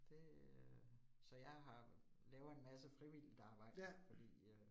Det, så jeg har laver en masse frivilligt arbejde fordi øh